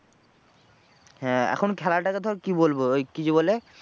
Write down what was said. হ্যাঁ এখন খেলাটাকে ধর কি বলবো ওই কি বলে,